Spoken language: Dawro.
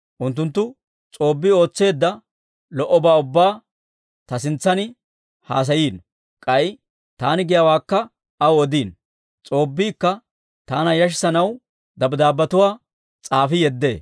Unttunttu S'oobbii ootseedda lo"obaa ubbaa ta sintsan haasayino; k'ay taani giyaawaakka aw odiino. S'oobbiikka taana yashissanaw dabddaabbetuwaa s'aafi yeddee.